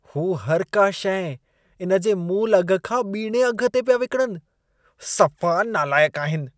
हू हर का शइ इन जे मूल अघ खां ॿीणे अघ ते पिया विकिणनि। सफ़ा नालाइक आहिन।